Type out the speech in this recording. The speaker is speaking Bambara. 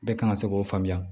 Bɛɛ kan ka se k'o faamuya